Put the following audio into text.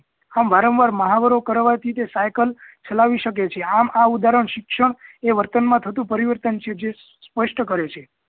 આમ વારંવાર મહાવરો કરવાથી તે સાયકલ ચાલવી શકે છે આમ આ ઉદાહરણ શિક્ષણ એ વર્તન માં થતું પરીવર્તન છે જે સ્પષ્ટ કરે છે